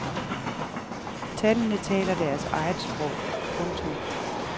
Tallene taler deres eget sprog. punktum